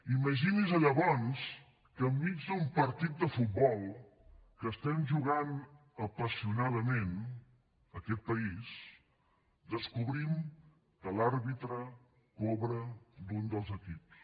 imaginin se llavors que enmig d’un partit de futbol que estem jugant apassionadament aquest país descobrim que l’àrbitre cobra d’un dels equips